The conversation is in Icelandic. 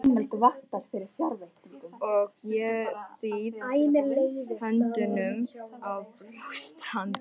Og ég styð höndunum á brjóst hans.